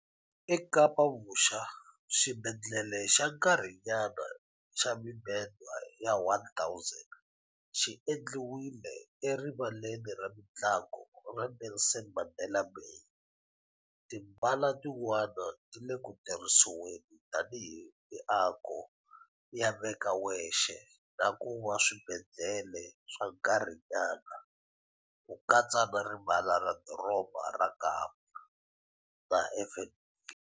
EKapa-Vuxa, xibedhlele xa nkarhinyana xa mibedwa ya 1000 xi endliwile eRivaleni ra Mitlangu ra Nelson Mandela Bay, timbala tin'wana ti le ku tirhisiweni tanihi miako yo veka wexe na ku va swibedhlele swa nkarhinyana, ku katsa na Rivala ra Doroba ra Kapa na FNB.